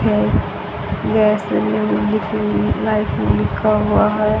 है गैस लिखी हुई लाइटनिंग लिखा हुआ है।